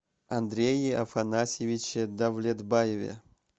андрее афанасьевиче давлетбаеве